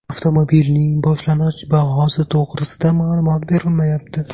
Avtomobilning boshlang‘ich bahosi to‘g‘risida ma’lumot berilmayapti.